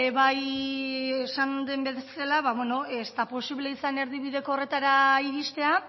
beno bai esan den bezala ez da posible izan erdibideko horretara iristea